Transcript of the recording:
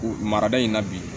Marada in na bi